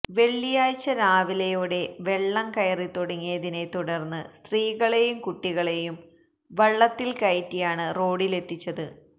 വെള്ളിയാഴ്ച രാവിലെയോടെ വെള്ളംകയറിത്തുടങ്ങിയതിനെ തുടർന്ന് സ്ത്രീകളേയും കുട്ടികളേയും വള്ളത്തിൽ കയറ്റിയാണ് റോഡിലെത്തിച്ചത്